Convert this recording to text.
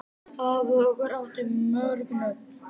Afi okkar átti mörg nöfn.